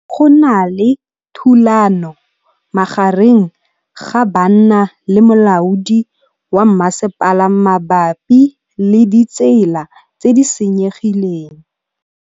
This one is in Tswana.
Go na le thulanô magareng ga banna le molaodi wa masepala mabapi le ditsela tse di senyegileng.